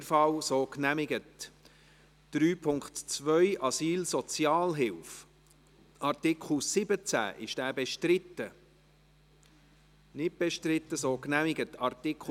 Sie haben dem zugestimmt, mit 131 Ja- gegen 5 Nein-Stimmen bei 2 Enthaltungen.